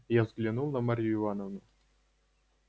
я взглянул на марью ивановну